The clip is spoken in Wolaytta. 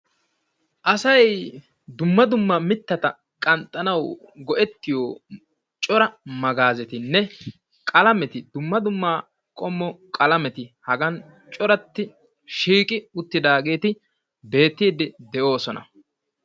aasay dumma dumma mittatta qanxanawu go'ettiyoo coora magezettinne qalameeti dumma dumma qoomo qalameti haagan coorati shiiqi uutidaggeti beettiidi de'oosona.